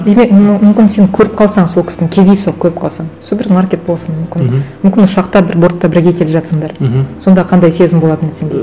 ну мүмкін сен көріп қалсаң сол кісіні кездейсоқ көріп қалсаң супермаркет болсын мүмкін мхм мүмкін ұшақта бір бортта бірге келе жатырсыңдар мхм сонда қандай сезім болатын еді сенде